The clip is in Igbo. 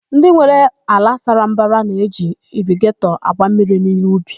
Ndị nwere ala sara mbara na-eji irigetọ agba mmiri n'íhé ubi.